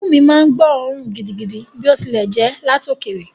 Imú mi máa ń gbóòórùn gidigidi bí ó tilẹ̀ jẹ́ láti òkèèrè.